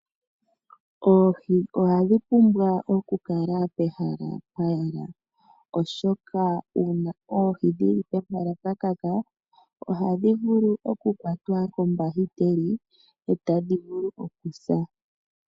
Oohi ohadhi pumbwa okukala pehala pwayela, oshoka uuna dhi li pehala pwanyata ohadhi vulu okukwatwa kombahiteli etadhi si.